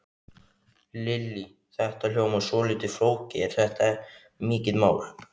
Lillý: Þetta hljómar svolítið flókið, er þetta mikið mál?